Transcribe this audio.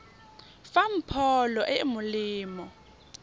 fang pholo e e molemo